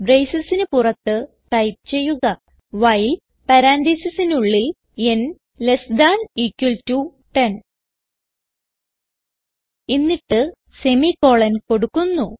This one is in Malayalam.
bracesന് പുറത്ത് ടൈപ്പ് ചെയ്യുക വൈൽ പരാൻതീസിസിനുള്ളിൽ എന്നിട്ട് semi കോളൻ കൊടുക്കുന്നു